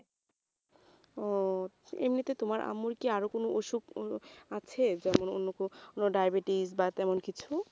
ও এমনিতে তোমার আম্মুর কি আর কোন অসুখ আছে যেমন অন্য কোনো diabetes বা তেমন কিছু